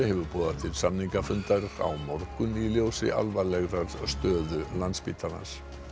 hefur boðað til samningafundar á morgun í ljósi alvarlegrar stöðu á Landspítala